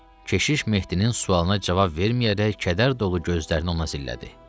Keşiş Mehdinin sualına cavab verməyərək kədər dolu gözlərini ona zillədi.